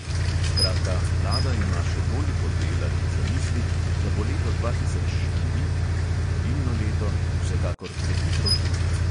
Skratka, vlada ima še toliko dela in zamisli, da bo leto dva tisoč štiri, torej volilno leto, vsekakor prehitro tu.